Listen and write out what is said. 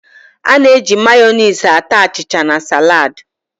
A na-eji Mayoniisị ata achịcha na salad